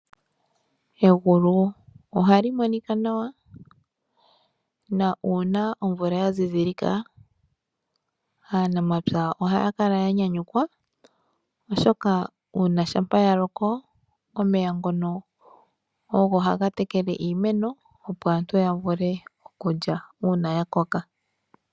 Egulu ohali monika nawa na uuna omvula yazidhilika aanamapya ohayakala yanyanyukwa oshoka uuna shampa yaloko omeya ngono ogo haga tekele iimeno opo aantu yavule okulya uuna yakoka.